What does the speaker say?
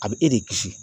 A bɛ e de kisi